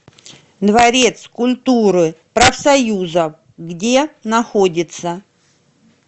дворец культуры профсоюзов где находится